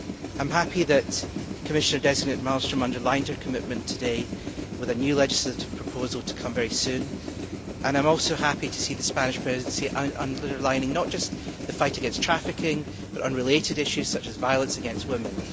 I am happy that Commissioner designate Malmström underlined her commitment today to come forward with a new legislative proposal very soon, and I am also happy to see the Spanish Presidency underlining not just the fight against trafficking but related issues such as violence against women.